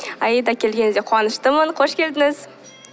аида келгеніңізге қуаныштымын қош келдіңіз